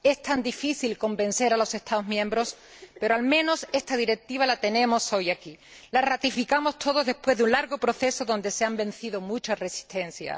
Es tan difícil convencer a los Estados miembros, pero al menos esta Directiva la tenemos hoy aquí. La ratificamos todos después de un largo proceso donde se han vencido muchas resistencias.